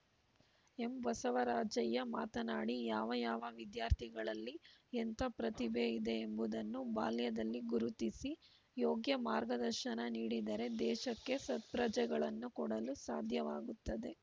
ಎಂಬಸವರಾಜಯ್ಯ ಮಾತನಾಡಿ ಯಾವ ಯಾವ ವಿದ್ಯಾರ್ಥಿಗಳಲ್ಲಿ ಎಂಥ ಪ್ರತಿಭೆ ಇದೆ ಎಂಬುದನ್ನು ಬಾಲ್ಯದಲ್ಲಿ ಗುರುತಿಸಿ ಯೋಗ್ಯ ಮಾರ್ಗದರ್ಶನ ನೀಡಿದರೆ ದೇಶಕ್ಕೆ ಸತ್ಪ್ರಜೆಗಳನ್ನು ಕೊಡಲು ಸಾಧ್ಯವಾಗುತ್ತದೆ